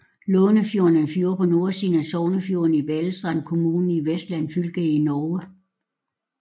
Lånefjorden er en fjord på nordsiden af Sognefjorden i Balestrand kommune i Vestland fylke i Norge